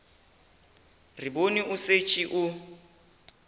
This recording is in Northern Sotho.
re bone o šetše o